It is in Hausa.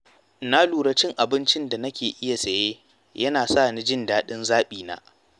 Na lura cewa cin abincin da nake iya saye yana sa ni jin daɗin zaɓina.